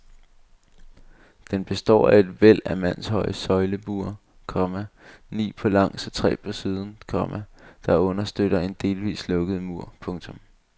Den består af et væld af mandshøje søjlebuer, komma ni på langs og tre på siden, komma der understøtter en delvist lukket mur. punktum